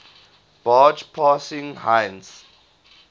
barge passing heinz